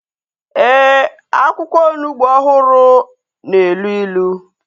Ee, akwụkwọ onugbu ọhụrụ na-elu ilu